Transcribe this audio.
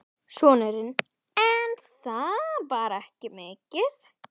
Sonurinn: En það var ekki mikið.